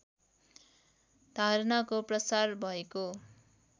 धारणाको प्रसार भएको